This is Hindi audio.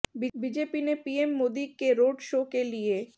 बीजेपी ने पीएम मोदी के रोड शो के लिए